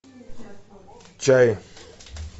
чай